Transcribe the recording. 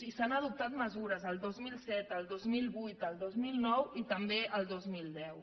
i s’han adoptat mesures el dos mil set el dos mil vuit el dos mil nou i també el dos mil deu